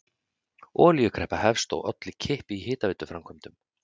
Olíukreppa hefst og olli kipp í hitaveituframkvæmdum.